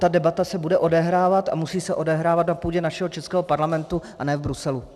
Ta debata se bude odehrávat a musí se odehrávat na půdě našeho českého parlamentu, a ne v Bruselu.